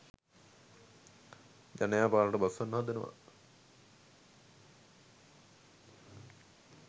ජනයා පාරට බස්සවන්න හදනවා